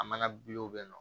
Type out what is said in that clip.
A mana bɛ yen nɔ